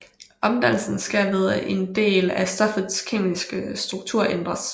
Omdannelsen sker ved at en del af stoffets kemiske struktur ændres